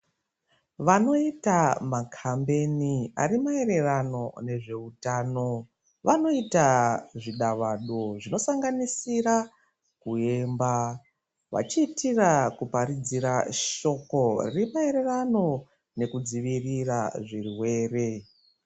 Vanoita maCampaign ari maererano neutano vanoita zvidavado zvinosanganisira kuemba vachiitira kuparidzira shoko remaererano nekudzivirira zvirwere.